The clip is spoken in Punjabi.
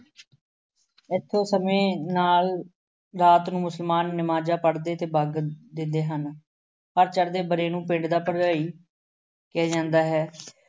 ਇਸੇ ਸਮੇਂ ਨਾਲ ਰਾਤ ਨੂੰ ਮੁਸਲਮਾਨ ਨਵਾਜ਼ਾਂ ਪੜ੍ਹਦੇ ਅਤੇ ਦਿੰਦੇ ਹਨ। ਹਰ ਚੜ੍ਹਦੇ ਵਰ੍ਹੇ ਨੂੰ ਪਿੰਡ ਦਾ ਭਰਜਾਈ ਕਿਹਾ ਜਾਂਦਾ ਹੈ।